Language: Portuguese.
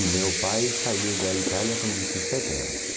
E meu pai saiu da Itália com dezessete anos.